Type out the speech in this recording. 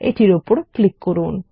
এটির উপর ক্লিক করুন